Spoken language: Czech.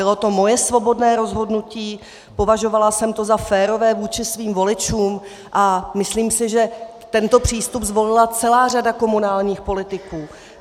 Bylo to moje svobodné rozhodnutí, považovala jsem to za férové vůči svým voličům a myslím si, že tento přístup zvolila celá řada komunálních politiků.